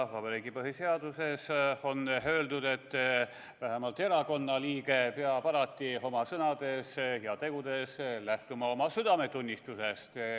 Vabariigi põhiseaduses on öeldud, et vähemalt erakonna liige peab alati oma sõnades ja tegudes lähtuma oma südametunnistusest.